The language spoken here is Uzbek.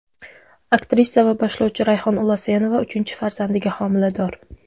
Aktrisa va boshlovchi Rayhon Ulasenova uchinchi farzandiga homilador.